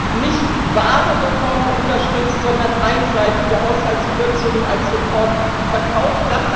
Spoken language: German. Wir haben nicht wahre Reformen unterstützt, sondern einseitige Haushaltskürzungen als Reformen verkauft.